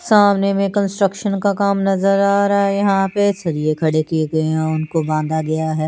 सामने में कंस्ट्रक्शन का काम नजर आ रहा हे यहा पे सरिये खड़े किये गये हैं उनको बाधा गया हे।